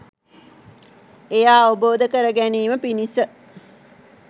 එය අවබෝධ කරගැනීම පිණිස